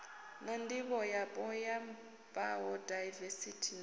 na ndivhoyapo ya bayodaivesithi na